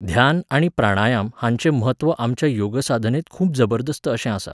ध्यान आनी प्राणायाम हांचें म्हत्व आमच्या योगसाधनेंत खूब जबरदस्त अशें आसा